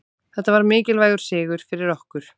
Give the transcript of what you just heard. Þetta var mikilvægur sigur fyrir okkur